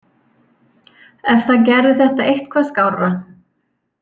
Ef það gerði þetta eitthvað skárra.